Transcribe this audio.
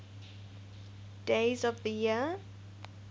days of the year